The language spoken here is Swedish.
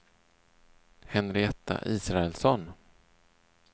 Henrietta Israelsson